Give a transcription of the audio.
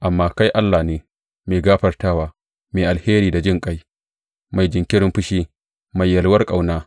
Amma kai Allah ne mai gafartawa, mai alheri da jinƙai, mai jinkirin fushi, mai yalwar ƙauna.